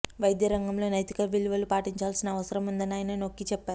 వైద్య రంగంలో నైతిక విలువలు పాటించాల్సిన అవసరం ఉందని ఆయన నొక్కి చెప్పారు